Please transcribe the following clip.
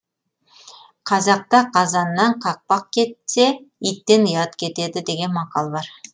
қазақта қазаннан қақпақ кетсе иттен ұят кетеді деген мақал бар